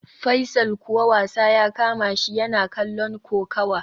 Faisal kuwa wasa ya kamashi, yana kallon kokawa